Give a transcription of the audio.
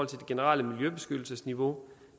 generelle miljøbeskyttelsesniveau